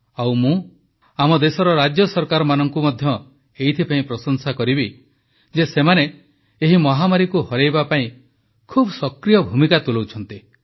ଆଉ ମୁଁ ଆମ ଦେଶର ରାଜ୍ୟ ସରକାରମାନଙ୍କୁ ମଧ୍ୟ ଏଥିପାଇଁ ପ୍ରଶଂସା କରିବି ଯେ ସେମାନେ ଏହି ମହାମାରୀକୁ ହରାଇବା ପାଇଁ ଖୁବ ସକ୍ରିୟ ଭୂମିକା ତୁଲାଉଛନ୍ତି